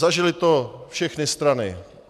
Zažily to všechny strany.